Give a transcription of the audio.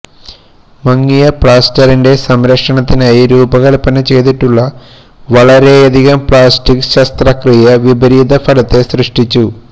മങ്ങിയ പ്ലാസ്റ്ററിൻറെ സംരക്ഷണത്തിനായി രൂപകൽപ്പന ചെയ്തിട്ടുള്ള വളരെയധികം പ്ലാസ്റ്റിക്ക് ശസ്ത്രക്രിയ വിപരീത ഫലത്തെ സൃഷ്ടിച്ചു